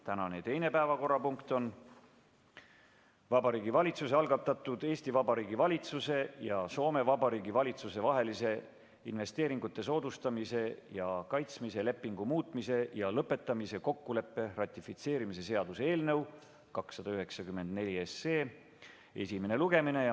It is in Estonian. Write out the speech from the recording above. Tänane teine päevakorrapunkt on Vabariigi Valitsuse algatatud Eesti Vabariigi valitsuse ja Soome Vabariigi valitsuse vahelise investeeringute soodustamise ja kaitsmise lepingu muutmise ja lõpetamise kokkuleppe ratifitseerimise seaduse eelnõu 294 esimene lugemine.